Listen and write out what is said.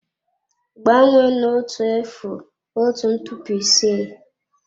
Gbanwee na otu efu otu ntụpọ ise.